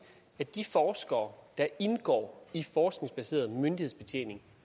at de forskere der indgår i forskningsbaseret myndighedsbetjening